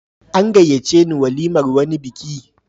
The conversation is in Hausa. An gayyace ni walimar wani biki.